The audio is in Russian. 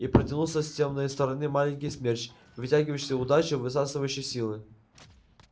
и протянулся с тёмной стороны маленький смерч вытягивающий удачу высасывающий силы